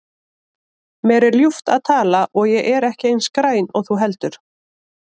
Mér er ljúft að tala og ég er ekki eins græn og þú heldur.